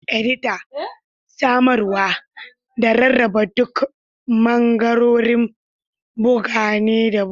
Edita, samarwa, da rarraba duk bangarorin bugu ne da bugawa.